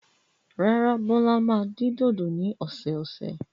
Rárá, Bọ́lá máa dín dòdò ní ọ̀sẹ̀ẹ̀sẹ̀.